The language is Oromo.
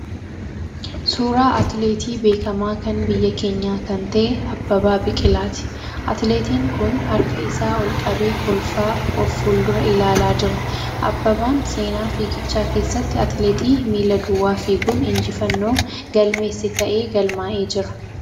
Suuraa atileetii beekamaa kan biyya keenya kan ta'e Abbabaa Biqilaati. Atileetin kun harka isaa ol qabee kolfaa of fuuldura ilaalaa jira. Abbabaan seenaa fiigichaa keessatti atileetii miila duwwaa fiiguun injifannoo galmeesse ta'ee galmaa'ee jira.